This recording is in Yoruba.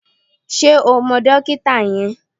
Ṣé o mọ dókítà yẹn?